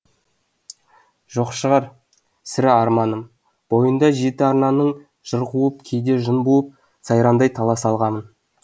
жоқ шығар сірә арманым бойында жеті арнаныңжыр қуып кейде жын буыпсайранды талай салғамын